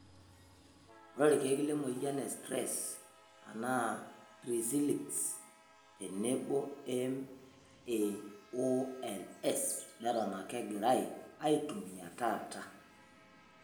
Ore ilkeek lenamoyian e sitiress anaa tricylics tenebo MAOIs neton ake egirai aitumiya taata.